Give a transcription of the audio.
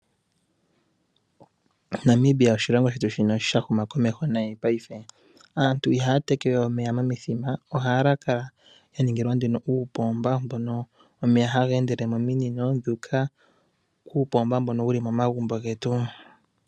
Namibia oshilongo shetu shono sha huma komeho nayi paife. Aantu ihaya tekewe omeya momithima , ohaya kala ya ningilwa nduno uupomba mbono omeya haga endele mominino dhu uka kuupomba mbono wu li momagumbo getu.